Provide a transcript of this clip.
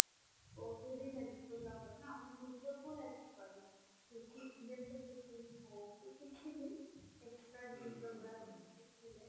କଉଥିରେ ବି helpful ହବ ନା ଆମ ନିଜକୁ help କରେ cooking ଯେମତି cooking ହଉ କିଛି ବି extra ଜିନିଷ ଗୁଡା ଶିଖିଲେ